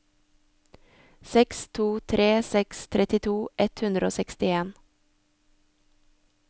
seks to tre seks trettito ett hundre og sekstien